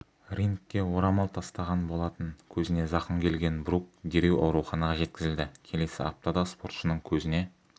рингке орамал тастаған болатын көзіне зақым келген брук дереу ауруханаға жеткізілді келесі аптада спортшының көзіне